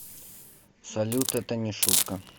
салют это не шутка